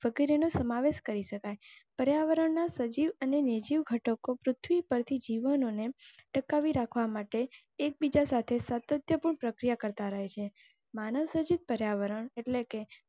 વગેરે નો સમાવેશ કરી શકાય. પર્યાવરણના સજીવ અને નિર્જીવ ઘટકો પૃથ્વી પરથી જીવન ટકાવી રાખવા માટે એક બીજા સાથે સાતત્યપૂર્ણ પ્રક્રિયા કરતાં રહે માનવ સર્જિત પર્યાવરણ એટલે કે